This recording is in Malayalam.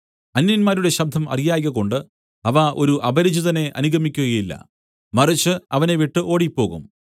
അന്യന്മാരുടെ ശബ്ദം അറിയായ്കകൊണ്ട് അവ ഒരു അപരിചിതനെ അനുഗമിക്കുകയില്ല മറിച്ച് അവനെ വിട്ടു ഓടിപ്പോകും